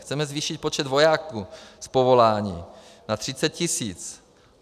Chceme zvýšit počet vojáků z povolání na 30 tisíc.